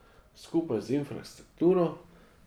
Skupaj z infrastrukturo.